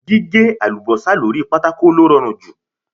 Gíhé àlùbọ́sà lóri pátákò ló rọrùn jù.